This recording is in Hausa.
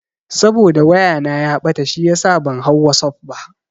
Saboda waya na ya ɓata shiyasa ban hau wasuf ba.